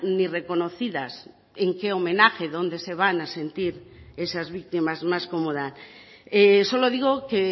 ni reconocidas en qué homenaje dónde se van a sentir esas víctimas más cómodas solo digo que